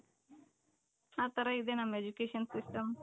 ಆ ತರ ಇದೆ ನಮ್ education system